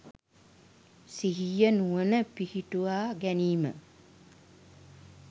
සිහිය නුවණ පිහිටුවා ගැනීම.